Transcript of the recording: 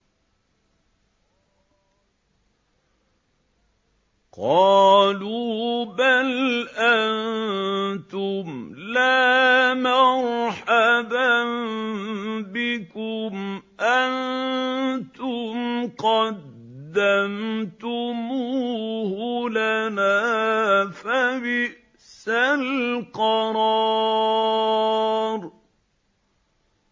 قَالُوا بَلْ أَنتُمْ لَا مَرْحَبًا بِكُمْ ۖ أَنتُمْ قَدَّمْتُمُوهُ لَنَا ۖ فَبِئْسَ الْقَرَارُ